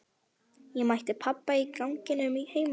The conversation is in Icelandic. Ég mætti pabba í ganginum heima.